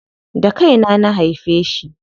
Da kaina na haife shi.